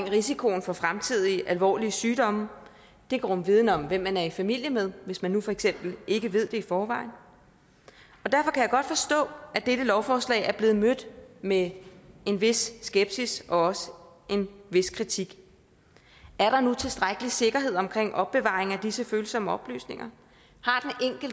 risikoen for fremtidige alvorlige sygdomme det kan rumme viden om hvem man er i familie med hvis man nu for eksempel ikke ved det i forvejen og godt forstå at dette lovforslag er blevet mødt med en vis skepsis og også en vis kritik er der nu tilstrækkelig sikkerhed omkring opbevaringen af disse følsomme oplysninger